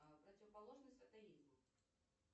противоположность атеизму